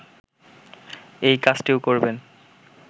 এই কাজটিও করবেন